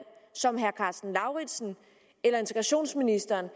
som herre karsten lauritzen eller integrationsministeren